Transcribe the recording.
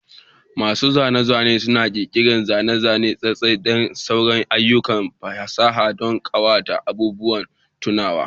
Masu zane-zane suna ƙirƙirar zane-zane, sassakaki, da sauran ayyukan fasaha don ƙawata da abubuwan tunawa.